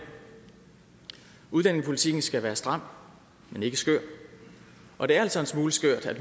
udlændingepolitikken skal være stram men ikke skør og det er altså en smule skørt at